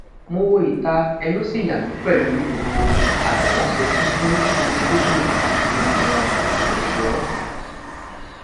mo wo ita ẹnu si yami pẹlu bi gbogbo agbala ṣe kun fun kudukudu ati awọn ẹṣọ